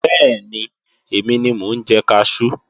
Bẹ́ẹ̀ni, èmi ni mo ń jẹ kaṣú